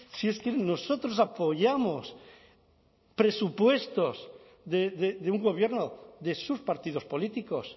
si es que nosotros apoyamos presupuestos de un gobierno de sus partidos políticos